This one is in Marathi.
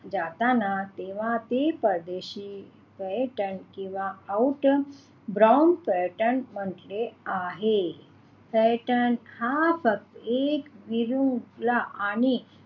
जाताना तेव्हा ते परदेशी पर्यटन किंवा outter brown पर्यटन म्हंटले आहे पर्यटन हा एक वीरूला आणि